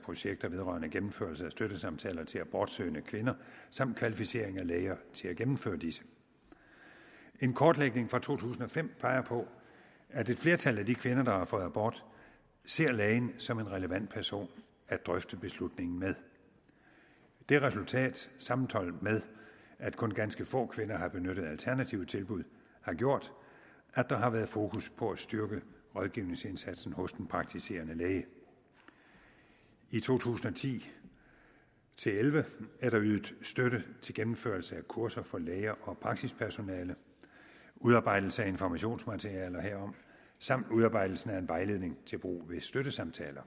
projekter vedrørende gennemførelse af støttesamtaler til abortsøgende kvinder samt kvalificering af læger til at gennemføre disse en kortlægning fra to tusind og fem peger på at et flertal af de kvinder der har fået abort ser lægen som en relevant person at drøfte beslutningen med det resultat sammenholdt med at kun ganske få kvinder har benyttet alternative tilbud har gjort at der har været fokus på at styrke rådgivningsindsatsen hos den praktiserende læge i to tusind og ti til elleve er der ydet støtte til gennemførelse af kurser for læger og praksispersonale udarbejdelse af informationsmaterialer herom samt udarbejdelse af en vejledning til brug ved støttesamtaler